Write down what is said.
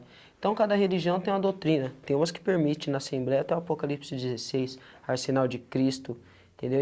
Então, cada religião tem uma doutrina, tem umas que permitem, na Assembleia tem o Apocalipse dezesseis, Arsenal de Cristo, entendeu?